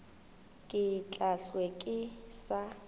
ke tla hlwe ke sa